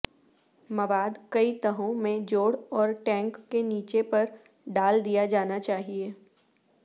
مواد کئی تہوں میں جوڑ اور ٹینک کے نیچے پر ڈال دیا جانا چاہئے